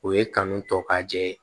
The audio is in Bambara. O ye kanu tɔ ka jɛ ye